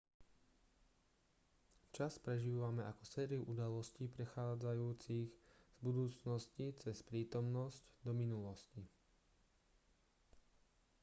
čas prežívame ako sériu udalostí prechádzajúcich z budúcnosti cez prítomnosť do minulosti